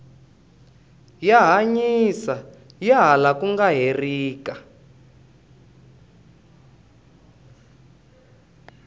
ya hanyisa ha laha ku nga herika